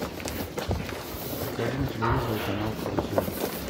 покажи на телевизоре канал карусель